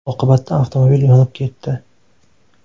Oqibatda avtomobil yonib ketdi .